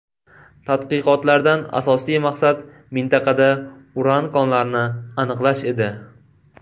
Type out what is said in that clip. Tadqiqotlardan asosiy maqsad mintaqada uran konlarini aniqlash edi.